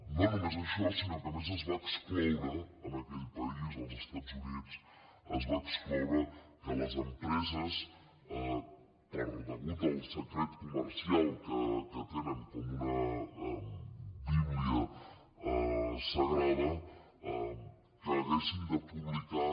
no només això sinó que a més es va excloure en aquell país als estats units que les empreses a causa del secret comercial que tenen com una bíblia sagrada haguessin de publicar